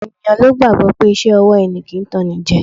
Ọ̀pọ̀ ènìyàn ló gbàgbọ́ pé iṣẹ́ ọwọ́ ẹni kì í tanní jẹ